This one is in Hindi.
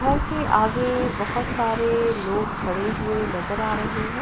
घर के आगे बहोत सारे लोग खड़े हुए नजर आ रहे हैं।